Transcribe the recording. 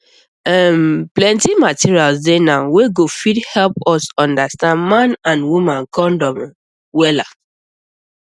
um plenty materials dey now wey go fit help us understand man and woman condom um wella um